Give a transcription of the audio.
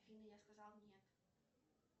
афина я сказала нет